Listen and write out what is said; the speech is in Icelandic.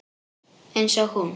Eins og hún.